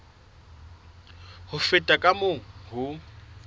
ho feta ka moo ho